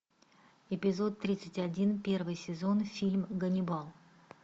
эпизод тридцать один первый сезон фильм ганнибал